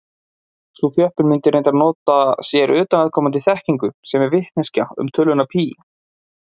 Sú þjöppun mundi reyndar nota sér utanaðkomandi þekkingu, sem er vitneskja um töluna pí.